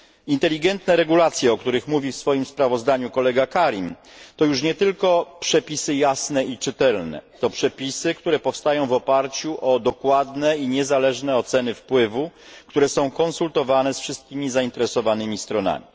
Inteligentne regulacje, o których mówi w swoim sprawozdaniu kolega Karim, to już nie tylko przepisy jasne i czytelne, to przepisy, które powstają w oparciu o dokładne i niezależne oceny wpływu, które są konsultowane ze wszystkimi zainteresowanymi stronami.